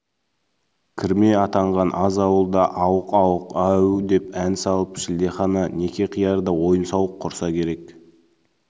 кірме атанған аз ауыл да ауық-ауық әу деп ән салып шілдехана некеқиярда ойын-сауық құрса керек